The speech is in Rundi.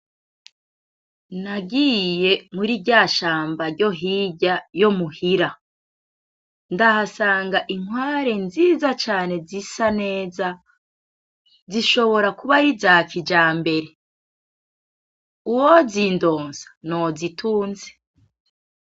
Nagiye muri rya shamba ryo hirya yo muhira, ndahasanga inkware nziza cane zisa neza , zishobora kuba ari iza kijambere , uwozindonsa no zitunze.